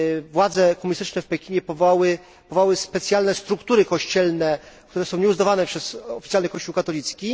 Władze komunistyczne w Pekinie powołały specjalne struktury kościelne, które są nieuznawane przez oficjalny kościół katolicki.